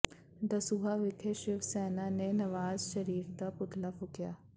ਦਸੂਹਾ ਵਿਖੇ ਸ਼ਿਵ ਸੈਨਾ ਨੇ ਨਵਾਜ਼ ਸ਼ਰੀਫ਼ ਦਾ ਪੁਤਲਾ ਫੂਕਿਆ